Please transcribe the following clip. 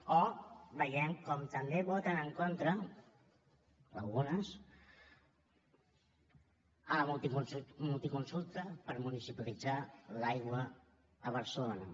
o veiem com també voten en contra algunes de la multiconsulta per municipalitzar l’aigua a barcelona